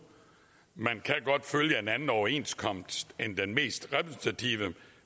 man kan godt følge en anden overenskomst end den mest repræsentative